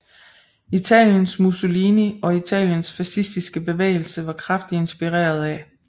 Italiens Musolini og italiens fascistiske bevægelse var kraftigt inspireret af